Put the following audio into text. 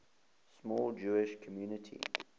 small jewish community